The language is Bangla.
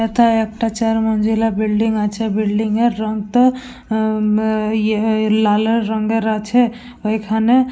এথায় একটা চার মঞ্জিলা বিল্ডিং আছে। বিল্ডিং এর রং তো হুম ইয়ে লালের রঙের আছে। ওইখানে--